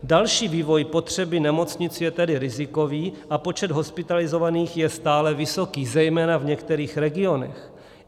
Další vývoj potřeby nemocnic je tedy rizikový a počet hospitalizovaných je stále vysoký, zejména v některých regionech.